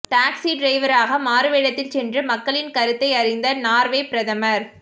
taxi டிரைவராக மாறுவேடத்தில் சென்று மக்களின் கருத்தை அறிந்த நார்வே பிரதமர்